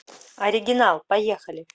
оригинал поехали